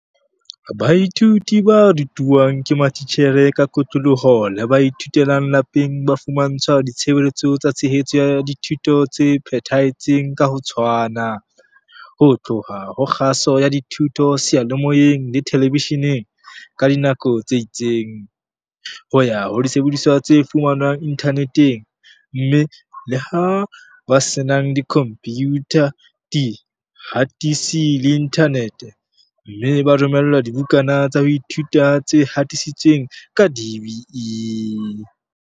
Baithuti ba rutwang ke matitjhere ka kotloloho le ba ithutelang lapeng ba fumantshwa ditshebeletso tsa tshehetso ya dithuto tse phethahetseng ka ho tshwana, ho tloha ho kgaso ya dithuto seyalemoyeng le telebesheneng ka dinako tse itseng, ho ya ho disebediswa tse fumanwang inthaneteng, mme, le ho ba senang dikhompiyutha, dihatisi le inthanete - mme ba romellwa dibukana tsa ho ithuta tse hatisitsweng ke DBE.